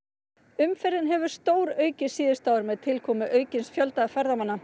umferðin hefur stóraukist síðustu ár með tilkomu aukins fjölda ferðamanna